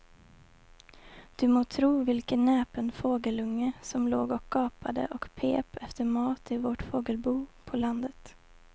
Du må tro vilken näpen fågelunge som låg och gapade och pep efter mat i vårt fågelbo på landet.